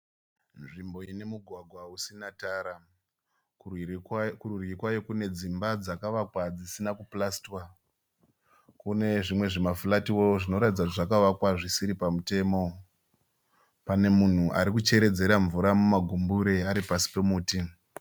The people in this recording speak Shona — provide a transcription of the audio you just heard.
Nzvimbo ine mugwagwa usina tara. Kurwiri kurwiri kwayo kune dzimba dzakavakwa dzisina kupurasitiwa. Kune zvimwe zvimafuratiwo zvinoratidza kuti zvakavakwa zvisiri pamutemo. Pane munhu arikucheredzera mvura mumagumbure ari pasi pomuti.